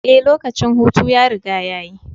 Ee, lokacin hutu ya riga ya yi.